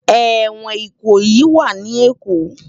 Éwòn Ikoyi wà ni Ékó